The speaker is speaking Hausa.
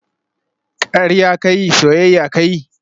Karya ka yi, soyayya ka yi